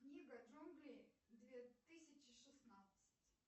книга джунглей две тысячи шестнадцать